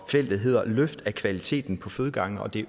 felt der hedder løft af kvaliteten på fødegange det